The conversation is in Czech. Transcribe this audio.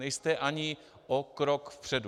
Nejste ani o krok vpředu.